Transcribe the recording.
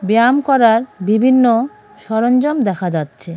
ব্যায়াম করার বিভিন্ন সরঞ্জাম দেখা যাচ্ছে .